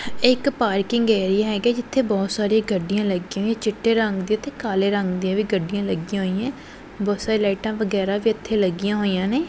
ਇੱਕ parking area ਹੈਗਾ ਜਿੱਥੇ ਬਹੁਤ ਸਾਰੇ ਗੱਡੀਆਂ ਲੱਗੀਆਂ ਹੋਈਆਂ ਚਿੱਟੇ ਰੰਗ ਦੇ ਤੇ ਕਾਲੇ ਰੰਗ ਦੀਆਂ ਵੀ ਗੱਡੀਆਂ ਲੱਗੀਆਂ ਹੋਈਆਂ ਬਹੁਤ ਲਾਈਟਾਂ ਵਗੈਰਾ ਵੀ ਇੱਥੇ ਲੱਗੀਆਂ ਹੋਈਆਂ ਨੇ।